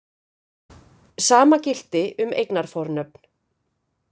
Sama gilti um eignarfornöfn.